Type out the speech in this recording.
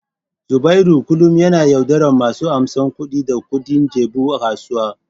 Zubairu kullum yana yaudarar masu amsan kuɗi da kuɗin jabu a kasuwa.